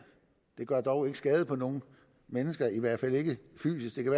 det gør dog ikke skade på nogen mennesker i hvert fald ikke fysisk det kan